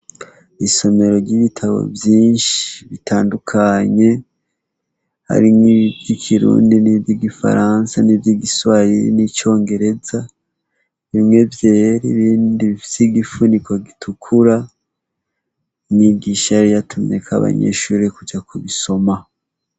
Isomero ry'ibitabo vyinshi bitandukanye, harimwo ivy'ikirundi nivy'igifaransa nivy'igiswahili n'icongereza, bimwe vyera, ibindi bifise igifuniko gitukura. Mwigisha yari yatumyeko abanyeshure kuja kubisoma